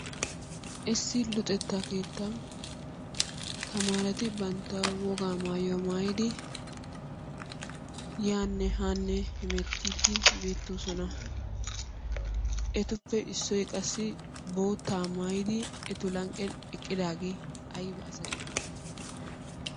Issi luxetta keettan tamaareti bantta wogaa maayuwa maayidi yaanne haanne hemettiiddi beettoosona. Etuppe Issoyi qassi boottaa maayidi etu lanqqen eqqidaagee ayba asa geetettidi?